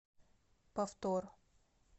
повтор